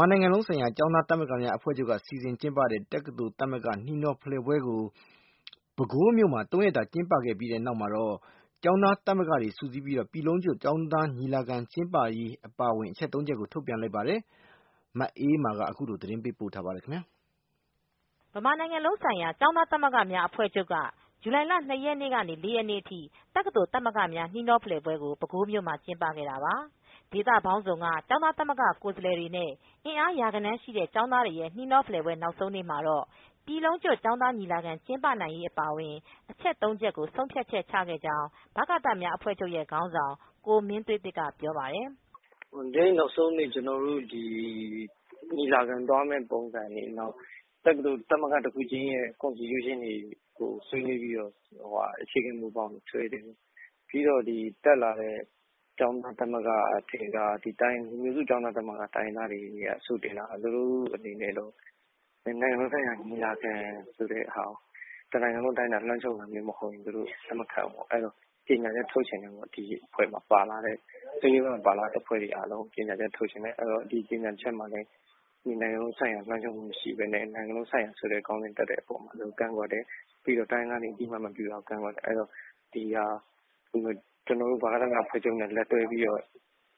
မာနိုင်ငံ လုံးဆိုင်ရာ ကျောင်းသားသမဂ္ဂများ အဖွဲ့ချုပ်မှ စီစဉ်ကျင်းပတဲ့ တက္ကသိုလ် သမဂ္ဂများ နှီးနှောဖလှယ်ပွဲကို ပဲခူးမြိုမှာ ၃ရက်တာ ကျင်းပခဲ့ ပြီးတဲ့နောက် မှာတော့ ကျောင်းသား သမဂ္ဂတွေ စုစည်းပြီး ပြည်လုံးကျွတ် ကျောင်းသား ညီလာခံ ကျင်းပရေး အပါအဝင် အချက် ၃ချက်ကို ထုတ်ပြန်လိုက်ပါတယ်။ မအေးမာက သတင်း ပေးပို့ထားပါတယ်။ ဗမာ နိုင်ငံလုံး ဆိုင်ရာ ကျောင်းသားသမဂ္ဂများ အဖွဲ့ချုပ်က ဇူလိုင်လ ၂ရက်နေ့ကနေ ၄ရက်နေ့ထိ တက္ကသိုလ် သမဂ္ဂများ နှီးနှောဖလှယ်ပွဲကို ပဲခူးမြို့မှာ ကျင်းပခဲ့တာပါ။ ဒေသပေါင်းစုံက ကျောင်းသားသမဂ္ဂ ကိုယ်စားလှယ်တွေနဲ့ အင်အားရာဂဏန်း ရှိတဲ့ ကျောင်းသားတွေရဲ့ နှီးနှောပွဲ နောက်ဆုံးနေမှာတော့ ပြည်လုံးကျွတ် ကျောင်းသား ညီလာခံ ကျင်းပနိုင်ရေး အပါအဝင် အချက် ၃ချက်ကို ဆုံးဖြတ်ချက်ချခဲ့ကြောင်း ဗကသများ အဖွဲ့ချုပ်ရဲ့ ခေါင်းဆောင် ကိုမင်းသွေးသစ်က ပြောပါတယ်။ “ဒီနေ့ နောက်ဆုံးနေ့ ကျွန်တော်တို့ ဒီ ညီလာခံ သွားမယ့် ပုံစံတွေ၊ နောက် တက္ကသိုလ် သမဂ္ဂ တစ်ခုချင်းစီရဲ့ constitution တွေ ကို ဆွေးနွေးပြီးတော့ အခြေခံ မူဘောင်တွေကို ဆွဲနေတယ်။ ပြီးတော့ ဒီ တက်လာတဲ့ ကျောင်းသား သမဂ္ဂတွေ ထဲက လူမျိုးစု တိုင်းရင်းသား သမဂ္ဂ ကျောင်းသားတွေ အဆို တင်တာက၊ နိုင်ငံလုံး ဆိုင်ရာ ကျောင်းသား ညီလာခံဆိုတာကို တနိုင်ငံလုံး တိုင်းအတာနဲ့ လွှမ်းခြုံတာမျိုး မဟုတ်ရင် သူတို့ လက်မခံဘူးပေါ့။ အဲဒီတော့ ကြေငြာချက် ထုတ်ချင်တယ်ပေါ့။ ဒီအဖွဲ့မှာ ပါလာတဲ့၊ အစည်းအဝေးမှာ ပါလာတဲ့ အဖွဲ့တွေ အားလုံး ကြေငြာချက် ထုတ်ချင်တယ်ပေါ့။ ဒီကြေငြာချက်မှာလည်း နိုင်ငံလုံး ဆိုင်ရာ လွှမ်းခြုံခြင်း မရှိပဲ နိုင်ငံလုံးဆိုင်ရာ ဆိုတဲ့ ခေါင်းစဉ်တပ်တဲ့ အပေါ်မှာ သူတို့ ကန့်ကွက်တယ်။ ပြီးတော့ တိုင်းရင်းသားတွေ အသိအမှတ် မပြုတာကို ကန့်ကွက်တယ်။ ပြီးတော့ ဒီဟာ ကျွန်တော်တို့ ဗကသအဖွဲ့ချုပ်နဲ့ လက်တွဲပြီးတော့၊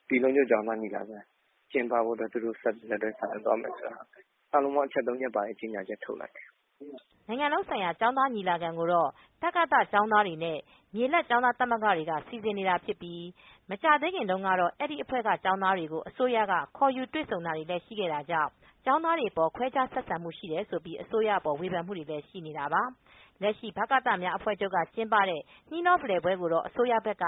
ပြည်လုံး ကျွတ် ကျောင်းသား ညီလာခံ ကျင်းပဖို့အတွက် သူတို့ လက်တွဲ ပြီးတော့ ဆောင်ရွက်သွားမယ် ဆိုတာ အာလုံး အချက် သုံးချက်ပါတဲ့ ကြေငြာချက် ထုတ်လိုက်တယ်။ ” နိုင်ငံလုံးဆိုင်ရာ ကျောင်သား ညီလာခံကတော့ တကသကျောင်သားတွေ နဲ့ မြေလတ်ကျောင်းသား သမဂ္ဂတွေက စီစဉ်ဆောင်ရွက် နေတာဖြစ်ပြီး မကြာသေးခင် တုန်းကတော့ အဲဒီအဖွဲ့က ကျောင်းသားတွေကို အစိုးရက ခေါ်ယူ တွေဆုံ ခဲ့တာတွေလည်း ရှိခဲ့တာကြောင့် ကျောင်းသားတွေအပေါ် ခွဲခြားဆက်ဆံတယ် ဆိုပြီး၊ အစိုးရအပေါ် ဝေဖန်မူတွေလည်း ရှိနေတာပါ။ လက်ရှိ ဗကသများ အဖွဲ့ချုပ်က ကျင်းပတဲ့ နှီးနှောဖလှယ်ပွဲ ကိုတော့ အစိုးရဘက်က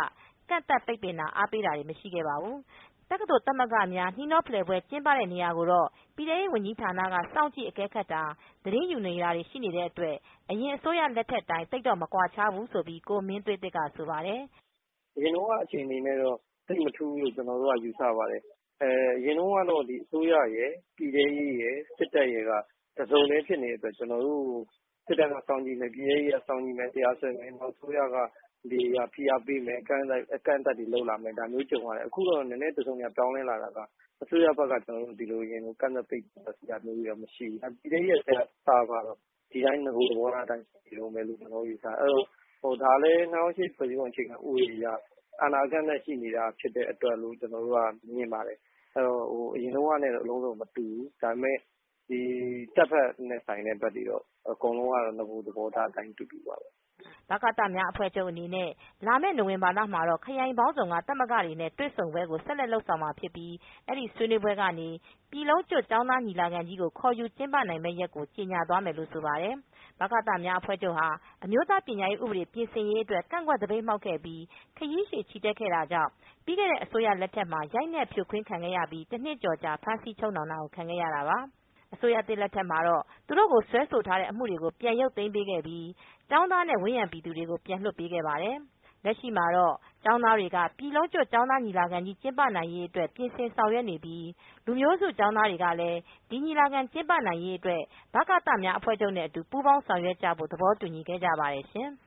ကန့်သတ် ပိတ်ပင်တာ၊ အားပေးတာတွေ မရှိခဲ့ပါဘူး။ တက္ကသိုလ် သမဂ္ဂများ၊ နှီးနှော ဖလှယ်ပွဲ ကျင်းပနေတဲ့ နေရာကိုတော့ ပြည်ထဲရေး ဝန်ကြီးဌာနက စောင့်ကြည့် အကဲခတ်တာ သတင်းယူတာတွေတော့ ရှိနေတဲ့ အတွက် အရင်အစိုးရ လက်ထက်အတိုင်း သိပ်မကွာခြားဘူးလို့ ကိုမင်းသွေးသစ်က ဆိုပါတယ်။ “အရင်တုန်းက အခြေအနေနဲ့တော့ သိပ်မထူးဘူးလို့ ကျွန်တော်တို့က ယူဆ ပါတယ်။ အရင်တုန်းကတော့ အစိုးရရယ်၊ ပြည်ထဲရေးရယ်၊ စစ်တပ်ရယ်က တစ်စုံတည်း ဖြစ်နေတဲ့အတွက် ကျွန်တော်တို့ကို စစ်တပ်က စောင့်ကြည့် လိုက်၊ ပြည်ထဲရေးက စောင့်ကြည့်လိုက်နဲ့ တရားစွဲမယ်။ နောက် အစိုးရက ဖိအားပေးမယ် အကန့်အသတ်တွေ လုပ်လာမယ် ဒါမျိုး ကြုံရတယ်။ အခုတော့ နည်းနည်း တစ်စုံ တစ်ရာ ပြောင်းလဲလာတာက အစိုးရဘက်က ဒီလို အရင်လို ကန့်သတ်ပိတ်ပင်တာမျိုး မရှိဘူး။ ဒါပေမယ့် ပြည်ထဲရေးနဲ့ စအဖကတော့ နဂို သဘောထားအတိုင်း ရှိနေတုန်းပဲလို့ ကျွန်တော်တို့ ယူဆတယ်။ ဒါကလည်း ၂၀၀၈ ဖွဲ့စည်းပုံ အခြေခံ ဥပဒေအရ အာဏာ အကန့်အသတ်ရှိနေတာကြောင့်လို့ ကျွန်တော်တို့က မြင်ပါတယ်။ အရင်တုန်းကနဲ့တော့ အလုံးစုံ မတူပါဘူး။ ဒါပေမယ့် ဒီ တပ်ဖက်နဲ့ဆိုင်တဲ့ ဘက်တွေတော့ အကုန်လုံးကတော့ နဂို သဘောထား အတိုင်း အတူတူပါပဲ။ ” ဗကသများ အဖွဲ့ချုုပ် အနေနဲ့ လာမယ့် နိုဝင်ဘာလမှာတော့ ခရိုင်ပေါင်းစုံက သမဂ္ဂတွေနဲ့ တွေဆုံးပွဲကို ဆက်လက်လုပ်ဆောင်မှာဖြစ်ပြီး၊ အဲဒီဆွေးနွေးပွဲ ကနေ ပြည်လုံးကျွတ် ကျောင်းသား ညီလာခံကြီးကို ခေါ်ယူကျင်းပနိုင်မယ့် ရက်ကို ကြေငြာသွားမယ်လို့ ဆိုပါတယ်။ ဗကများ အဖွဲချုပ်ဟာ အမျိုးသား ပညာရေး ဥပဒေပြင်ဆင်ရေး အတွက် ကန့်ကွက် သပိတ်မှောက်ပြီး၊ ခရီးရှည်ချီတက် ခဲ့တာကြောင့် ပြီးခဲ့တဲ့အစိုးရ လက်ထက်ရိုက်နှက် ဖြိုးခွင်းတာခံရပြီး တနှစ်ကျော်ကြာ ဖမ်းဆီးချုပ်နှောင်တာကို ခံခဲ့ရတာပါ။ အစိုးရသစ် လက်ထက်မှာတော့ သူတိုကို စွဲဆိုထားတဲ့ အမူတွေကို ပြန်ရုပ်သိမ်းပေး ခဲ့ပြီး ကျောင်းသားတွေနဲ့ ဝန်းရံ ပြည်သူတွေကို ပြန်လွတ်ပေးခဲ့ ပါတယ်။ လက်ရှိမှာတော့ ကျောင်းသားတွေက ပြည်လုံးကျွတ် ကျောင်းသားညီလာခံကြီးကျင်းပနိုင်ရေးအတွက် ပြင်ဆင်ဆောင်ရွက်နေကြပြီး လူမျိုးစု ကျောင်းသားတွေကလည်း ဒီညီလာခံ ကျင်းပနိုင်ရေးအတွက် ဗကသများအဖွဲချုပ်နဲ့အတူ ပူးပေါင်း ဆောင်ရွက် ကြဖို့ သဘောတူညီ ခဲ့ကြပါတယ်ရှင်။